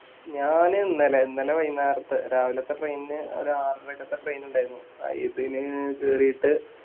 ഞാനിന്നലെ ഇന്നലെ വൈന്നേരത്തെ രാവിലത്തെ Train ന് ഒര് ആരറക്കത്തെ Train ഇണ്ടാരുന്നു ഇതിന് ന്ന് കേറീട്ട്